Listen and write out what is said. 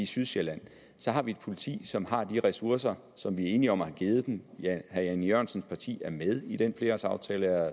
sydsjælland så har vi et politi som har de ressourcer som vi er enige om at have givet dem herre jan e jørgensens parti er med i den flerårsaftale og